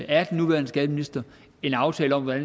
af den nuværende skatteminister en aftale om hvad